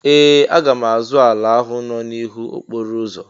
Ee! Aga m azụ ala ahụ nọ n'ihu okporo ụzọ